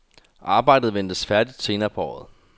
Arbejdet ventes færdigt senere på året.